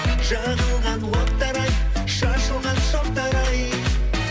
жағылған оттар ай шашылған шоқтар ай